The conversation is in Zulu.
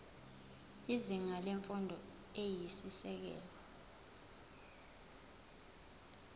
izinga lemfundo eyisisekelo